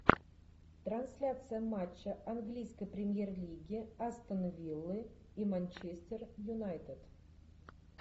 трансляция матча английской премьер лиги астон виллы и манчестер юнайтед